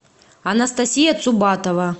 анастасия цубатова